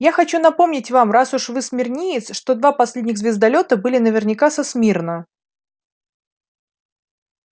я хочу напомнить вам раз уж вы смирниец что два последних звездолёта были наверняка со смирно